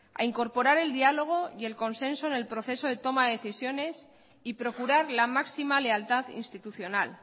a incorporar el diálogo y el consenso en el proceso de toma de decisiones y procurar la máxima lealtad institucional